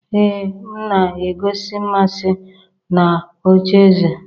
Ee m na-egosi mmasị na ocheeze